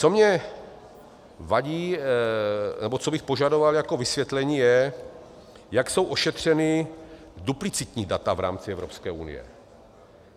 Co mně vadí nebo co bych požadoval jako vysvětlení, je, jak jsou ošetřena duplicitní data v rámci Evropské unie.